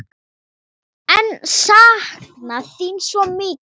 Ég sakna þín svo mikið!